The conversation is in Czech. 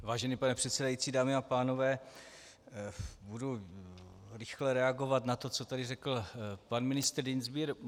Vážený pane předsedající, dámy a pánové, budu rychle reagovat na to, co tady řekl pan ministr Dientsbier.